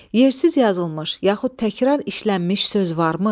Yersiz yazılmış yaxud təkrar işlənmiş söz varmı?